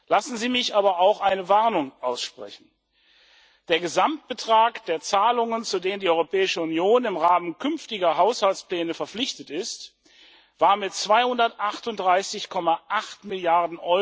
Lassen Sie mich aber auch eine Warnung aussprechen Der Gesamtbetrag der Zahlungen, zu denen die Europäische Union im Rahmen künftiger Haushaltspläne verpflichtet ist, war mit 238,8 Mrd.